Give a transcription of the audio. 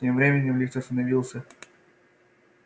тем временем лифт остановился